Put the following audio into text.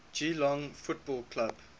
geelong football club